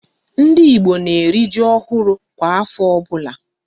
Ndị Igbo na eri ji ọhụrụ kwa afọ ọbụla